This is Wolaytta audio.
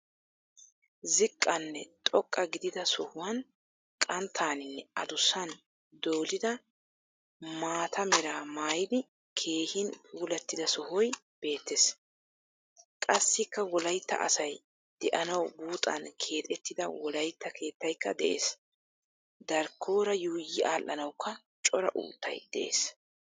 Ziiqanne xooqa giidida sohuwaan qanttaninne addussaan doolida maata meraa Maayidi keehin puulaatida sohoy beetes. Qaasikka wolayita asaay de'eanawu buuxaan keexettida wolayita keetayikka de'ees. Daarikoora yuuyi adhdhanaawukka cora uttayi de'ees